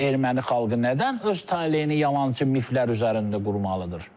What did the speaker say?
Erməni xalqı nədən öz taleyini yalançı mifflər üzərində qurmalıdır?